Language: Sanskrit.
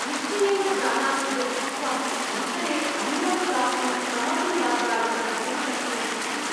निश्चयेन जानामि यत् त्वम् ,अन्तरे अन्यान् प्राप्तुं कमपि मार्गाय प्रष्टुं शक्नोषि इति।